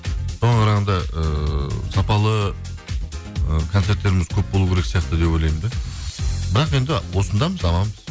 соған қарағанда ыыы сапалы ы концерттеріміз көп болу керек сияқты деп ойлаймын да бірақ енді осындамыз аманбыз